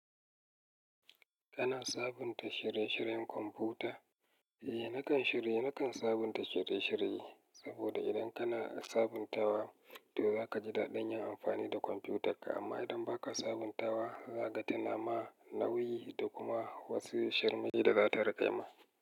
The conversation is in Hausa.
Kana sabunta shirye-shiryen kwamfuta? Eh, nakan shirye. Nakan sabunta shirye-shirye, saboda idan kana sabuntawa to za ka ji daɗin yin amfani da kwamfutarka. Amma idan ba ka sabuntawa, za ka ta nama, nauyi da kuma wasu sharmaye da za ta rakaima.